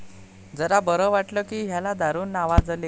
जरा बरं वाटल कि ह्याला दारू नावाजले.